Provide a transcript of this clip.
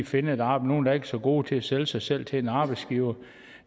finde et arbejde så gode til at sælge sig selv til en arbejdsgiver